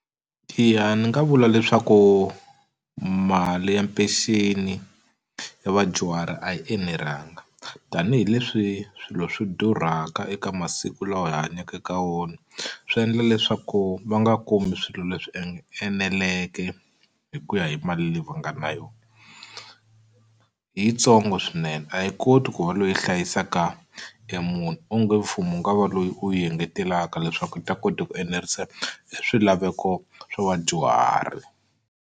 Eya ni nga vula leswaku mali ya peceni ya vadyuhari a yi enelanga. Tanihi leswi swilo swi durhaka eka masiku lawa hi hanyaka eka wona, swi endla leswaku va nga kumi swilo leswi eneleke hi ku ya hi mali leyi va nga na yona. I yitsongo swinene a yi koti ku va leyi hlayisaka e munhu. Onge mfumo wu nga va lowu wu va engetelaka leswaku yi ta kota ku enerisa e swilaveko swo vadyuhari.